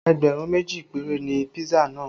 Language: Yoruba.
Ẹgbẹ̀rún méjì péré ni pisa náà